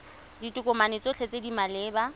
ditokomane tsotlhe tse di maleba